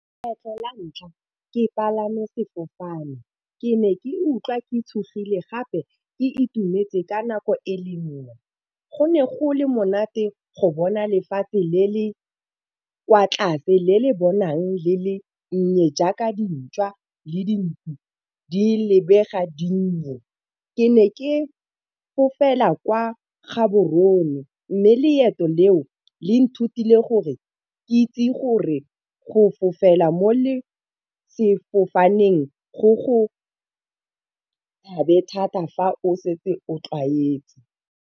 Kgetlho la ntlha ke palame sefofane ke ne ke utlwa ke tshogile gape e itumetse ka nako e le nngwe, go ne go le monate go bona lefatshe le le kwa tlase le le bonang le le nnye jaaka dintšwa le dinku di lebega di le di nnye. Ke ne ke fofela kwa Gaborone mme le leoto le o nthutile gore ke itse gore go fofela mo le sefofaneng go go thata fa o setse o tlwaetse.